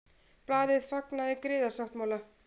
Blaðið fagnaði griðasáttmála